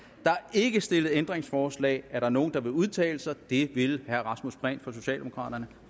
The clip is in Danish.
ikke stillet ændringsforslag er der nogen der vil udtale sig det vil herre rasmus prehn for socialdemokraterne